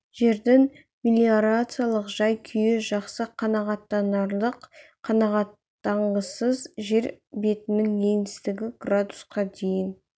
жердің мелиорациялық жай-күйі жақсы қанағаттанарлық қанағаттанғысыз жер бетінің еңістігі градусқа дейін